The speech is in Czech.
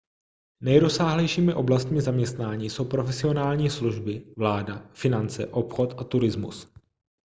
nejrozsáhlejšími oblastmi zaměstnání jsou profesionální služby vláda finance obchod a turismus